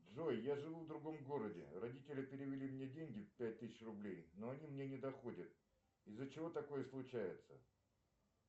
джой я живу в другом городе родители перевели мне деньги пять тысяч рублей но они мне не доходят из за чего такое случается